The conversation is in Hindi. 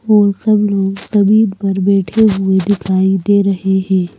और सब लोग जमीद पर बैठे हुए दिखाई दे रहे हैं।